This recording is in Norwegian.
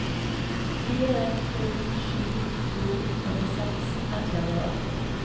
fire to sju to åttiseks ett hundre og åtti